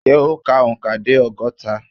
Ṣẹ́ o kà òǹkà dé ọgọ́ta?